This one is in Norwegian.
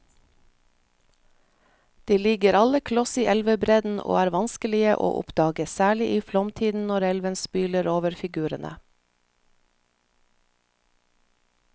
De ligger alle kloss i elvebredden og er vanskelige å oppdage, særlig i flomtiden når elven spyler over figurene.